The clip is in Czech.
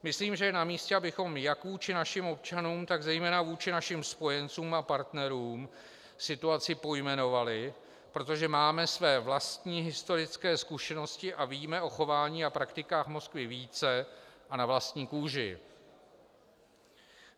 Myslím, že je na místě, abychom jak vůči našim občanům, tak zejména vůči našim spojencům a partnerům situaci pojmenovali, protože máme své vlastní historické zkušenosti a víme o chování a praktikách Moskvy více a na vlastní kůži.